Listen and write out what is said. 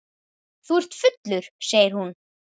Þú ert fullur, segir hún.